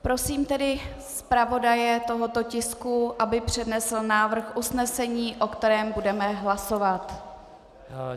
Prosím tedy zpravodaje tohoto tisku, aby přednesl návrh usnesení, o kterém budeme hlasovat.